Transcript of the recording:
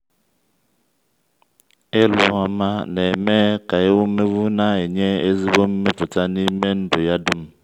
ịlụ ọma na-eme ka ewumewụ na-enye ezigbo mmepụta n’ime ndụ ya dum.